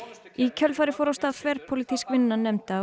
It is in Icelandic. í kjölfarið fór af stað þverpólitísk vinna nefnda og